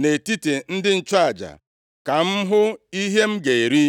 nʼetiti ndị nchụaja, ka m hụ ihe m ga-eri.” ’”